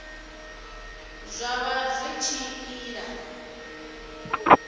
zwa vha zwi tshi ila